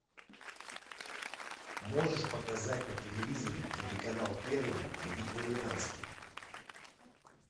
можешь показать на телевизоре телеканал первый вегетарианский